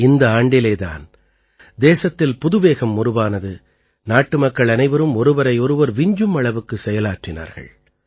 இந்த ஆண்டிலே தான் தேசத்தில் புதுவேகம் உருவானது நாட்டுமக்கள் அனைவரும் ஒருவரையொருவர் விஞ்சும் அளவுக்குச் செயலாற்றினார்கள்